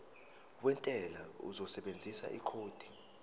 wentela uzosebenzisa ikhodi